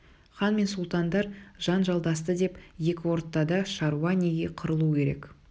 хан мен сұлтандар жанжалдасты деп екі ортада шаруа неге қырылуы керек